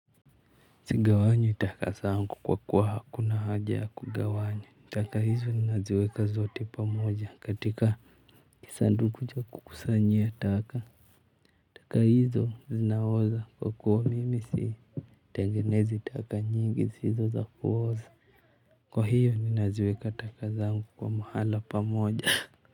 Sigawanyi taka zangu kwa kuwa hakuna haja ya kugawanya. Taka hizo ninaziweka zote pamoja katika kisanduku cha kukusanyia taka. Taka hizo zinaoza kwa kuwa mimi sii tengenezi taka nyingi zisizo za kuoza. Kwa hiyo ninaziweka taka zangu kwa mahala pamoja.